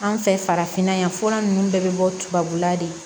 An fɛ farafinna yan fura nunnu bɛɛ bɛ bɔ tubabula de